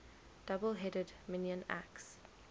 double headed minoan axe